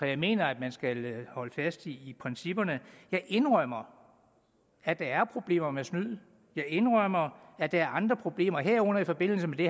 jeg mener at man skal holde fast i principperne jeg indrømmer at der er problemer med snyd jeg indrømmer at der er andre problemer herunder i forbindelse med det